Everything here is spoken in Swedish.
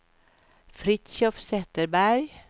Fritiof Zetterberg